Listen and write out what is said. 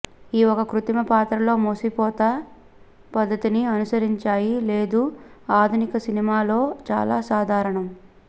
ఈ ఒక కృత్రిమ పాత్రలతో మూసపోత పద్ధతిని అనుసరించాయి లేదు ఆధునిక సినిమా లో చాలా సాధారణం